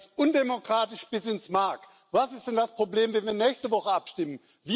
Das ist undemokratisch bis ins Mark! Was ist denn das Problem, wenn wir nächste Woche abstimmen?